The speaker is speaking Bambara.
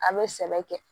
An bɛ sɛnɛ kɛ